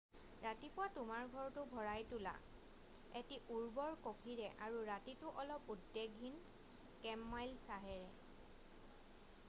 ৰাতিপুৱা তোমাৰ ঘৰটো ভৰাই তোলা এটি উৰ্বৰ কফিৰে আৰু ৰাতিটো অলপ উদ্বেগহীন কেমমাইল চাহেৰে